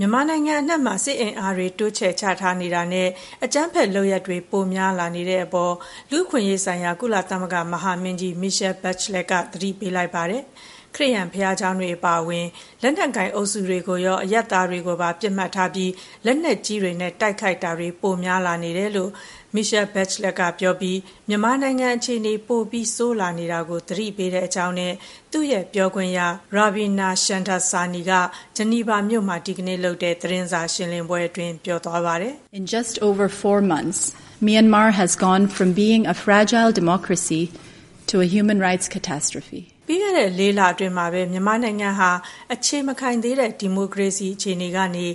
မြန်မာနိုင်ငံအနှံ့မှာ စစ်အင်အားတွေ တိုးချဲ့ချထားနေတာနဲ့ အကြမ်းဖက်လုပ်ရပ်တွေ ပိုများလာနေတဲ့အပေါ် လူ့အခွင့်အရေးဆိုင်ရာ ကုလသမဂ္ဂမဟာမင်းကြီး Michelle Bachelet က သတိပေးလိုက်ပါတယ်။ ခရစ်ယာန်ဘုရားကျောင်းတွေအပါအဝင် လက်နက်ကိုင်အုပ်စုတွေကိုရော၊ အရပ်သားတွေကိုပါ ပစ်မှတ်ထားပြီး လက်နက်ကြီးတွေနဲ့ တိုက်ခိုက်မှုတာတွေ ပိုများလာနေတယ်လို့ Michelle Bachelet ကပြောပြီး မြန်မာနိုင်ငံအခြေအနေ ပိုပြီးဆိုးလာနေတာကို သတိပေးတဲ့အကြောင်း သူ့ရဲ့ပြောခွင့်ရ ရာဗီနာ ရှမ်ဒါဆာနီက ဂျီနီဗာမြို့မှာ ဒီကနေ့လုပ်တဲ့ သတင်းစာရှင်းလင်းပွဲအတွင်း ပြောသွားပါတယ်။ “ပြီးခဲ့တဲ့ လေးလအတွင်းမှာပဲ မြန်မာနိုင်ငံဟာ အခြေမခိုင်သေးတဲ့ ဒီမိုကရေစီအခြေအနေကနေ